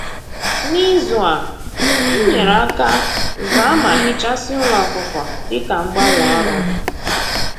N'izu a, m nyere aka zaa ma hichasịa ụlọ ọkụkọ dịka mgbanwe ọrụ m